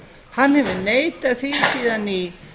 hann hefur neitað því síðan í